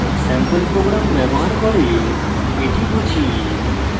sample program ব্যবহার করে এটি বুঝি